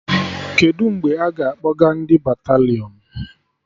Kedụ mgbe a ga-akpọga ndị batalịọn?